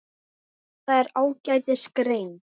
Þetta er ágætis grein.